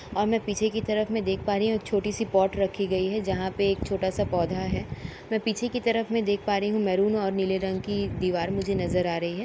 और मैं पीछे की तरफ में देख पा रही हूं छोटी सी पोर्ट रखी गई है जहां पे एक छोटा सा पौधा है। मैं पीछे की तरफ में देख पा रही मेहरून और नीले रंग की दीवार मुझे नजर आ रही है।